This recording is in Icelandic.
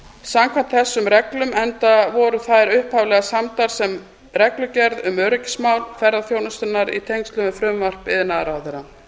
samkvæmt þessum reglum enda voru þær upphaflega samdar sem reglugerð um öryggismál ferðaþjónustunnar í tengslum við frumvarp iðnaðarráðherra